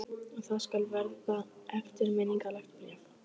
Og það skal verða eftirminnilegt bréf.